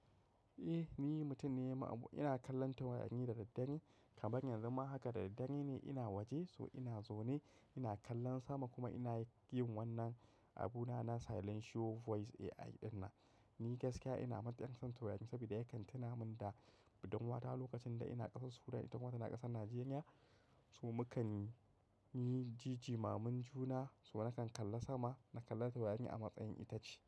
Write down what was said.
Eh ni mutum ne, ma abu ina kallon taurari da daddare kaman yanzu ma haka da daddare ne ina waje so ina zo ne ina kallon sama kuma ina yin wannan abuna na Silencious Voice AI ɗina. Ni gaskiya ina matuƙan son taurari saboda ya kantina min da budurwata lokacin da ina ƙasar Sudan ita ma tana ƙasar Nijeriya. So mukan yi jijimamun juna, so nakan kalla sama na kalla tawayen a matsayin itace.